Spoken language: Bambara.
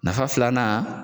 Nafa filanan